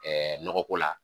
nɔgɔ ko la